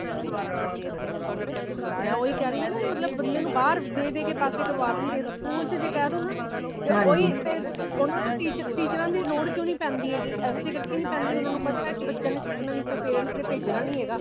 ਮੈ ਓਹੀ ਕੇ ਰਹੀ ਨਾ ਬੰਦੇ ਨੂੰ ਬਾਹਰ ਦੇ ਦੇ ਕੇ ਪਾਸੇ ਕਾਰਵਦੇਣਗੇ school ਜੇ ਕਹਿ ਦੋ ਨਾ ਤੇ ਓਹੀ ਫੇਰ ਉਨ੍ਹਾਂਨੂੰ teacher ਦੇ ਲੋੜ ਕਉ ਨਹੀਂ ਪੈਂਦੀ ਹੇਗੀ ਇਸੇ ਕਰਕੇ ਨਹੀਂ ਪੈਂਦੀ ਪਤਾ ਹੈ ਬੱਚਿਆਂ ਨੇ ਸਿੱਖਣਾ ਨਹੀਂ parents ਨੇ ਭੇਜਣਾ ਨਹੀਂ ਹੇਗਾ